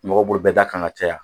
Mɔgɔ bolo bɛ d'a kan ka caya.